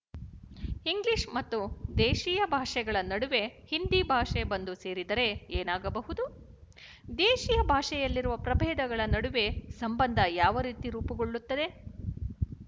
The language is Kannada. ಇಂಗ್ಲಿಶ ಮತ್ತು ದೇಶೀಯಭಾಷೆಗಳ ನಡುವೆ ಹಿಂದಿಭಾಷೆ ಬಂದು ಸೇರಿದರೆ ಏನಾಗಬಹುದು ದೇಶೀಯ ಭಾಷೆಯಲ್ಲಿರುವ ಪ್ರಭೇದಗಳ ನಡುವೆ ಸಂಬಂಧ ಯಾವರೀತಿ ರೂಪುಗೊಳ್ಳುತ್ತದೆ